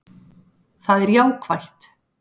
Það er jákvætt